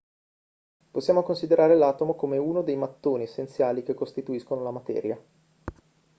possiamo considerare l'atomo come uno dei mattoni essenziali che costituiscono la materia